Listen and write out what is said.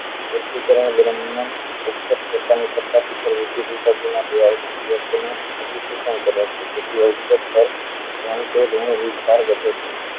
અધિકેશન કરે છે કારણ કે તેનો ઋણ ભાર વધે છે